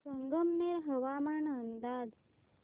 संगमनेर हवामान अंदाज